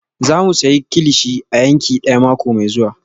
Za mu sayi kilichi a yanki daya mako mai zuwa